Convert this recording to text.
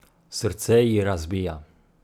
Srce ji razbija.